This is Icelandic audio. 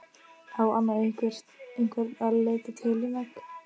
Á Anna einhvern að leita til um egg?